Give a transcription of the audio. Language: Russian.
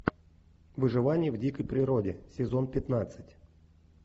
выживание в дикой природе сезон пятнадцать